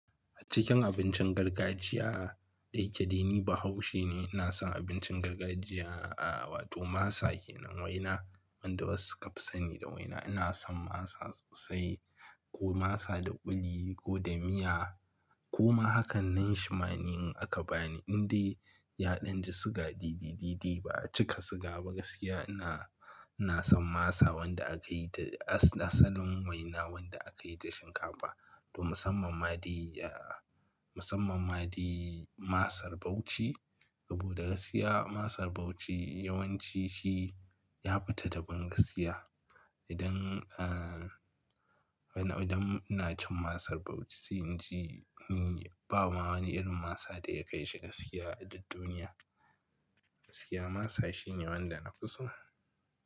A cikin abincin gargajiya da yake dai ni Bahaushe ne, ina son abincin gargajiya, aa wato masa kenan waina wanda wasu suka fi sani da waina. Ina son masa sosai ko masa da kuli ko da miya ko ma hakan nanshi ma ni in aka bani. Indai yaɗan digasuga dai dai dai dai ba a cika siga ba gaskiya ina, ina son masa wanda aka yi ta asalin waina wanda aka yi da shinkafa. To musamman ma dai aa, musamman ma dia masar Bauchi. Saboda gaskiya masar Bauchi yawanci shi ya fita daban gaskiya. Idan aa, idan ina cin masar Bauchi sai in ji ni ba ma wani irin masa da ya kai shi gaskiya a duk duniya. Gaskiya masa shine wanda na fi so.